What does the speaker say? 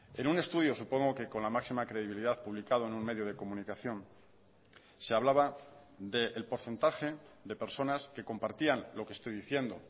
en un estudio supongo que con la máxima credibilidad publicado en un medio de comunicación se hablaba del porcentaje de personas que compartían lo que estoy diciendo